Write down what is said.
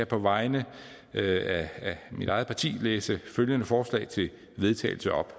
på vegne af mit eget parti læse følgende forslag til vedtagelse op